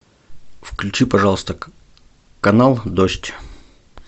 включи пожалуйста канал дождь